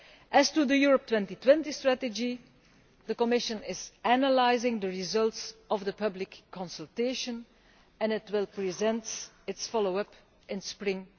As to the Europe 2020 strategy, the Commission is analysing the results of the public consultation, and it will present its follow up in spring